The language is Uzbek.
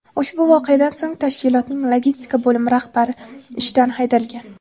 Ushbu voqeadan so‘ng tashkilotning logistika bo‘limi rahbari ishdan haydalgan.